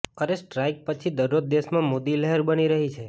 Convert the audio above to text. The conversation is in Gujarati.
એર સ્ટ્રાઇક પછી દરરોજ દેશમાં મોદી લહેર બની રહી છે